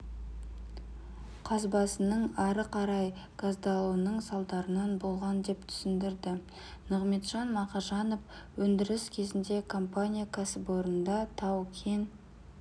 қазбасының ары қарай газдалуының салдарынан болған деп түсіндірді нығмеджан мақажанов өндіріс кезінде компания кәсіпорында тау-кен